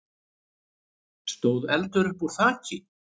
stóð eldur uppúr þaki.